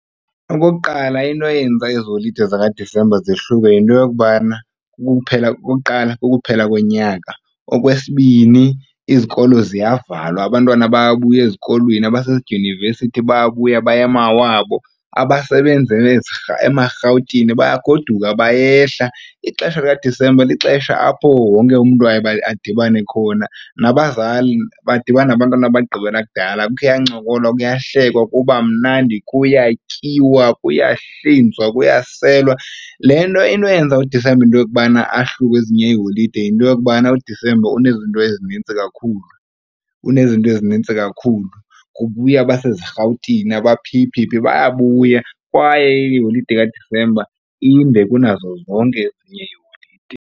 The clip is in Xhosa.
Okokuqala into eyenza ezi holide zikaDisemba zehluke yinto yokubana okokuqala, kukuphela konyaka. Okwesibini, izikolo ziyavalwa abantwana bayabuya ezikolweni, abasezidyunivesithi bayabuya baya emawabo, abasebenzela emaRhawutini bayagoduka bayehla. Ixesha likaDisemba lixesha apho wonke umntu aye adibane khona, nabazali badibana nabantwana ababagqibela kudala. Kuyancokolwa, kuyahlekwa kuba mnandi kuyatyiwa kuyahlinzwa, kuyaselwa. Le nto into eyenza uDisemba into yokubana ahluke kwezinye iiholide yinto yokubana uDisemba unezinto ezinintsi kakhulu, unezinto ezinintsi kakhulu. Kubuya abaseziRhawutini aba phi phi phi, bayabuya kwaye iholide kaDisemba inde kunazo zonke ezinye iiholide.